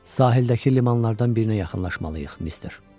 Sahildəki limanlardan birinə yaxınlaşmalıyıq, mister.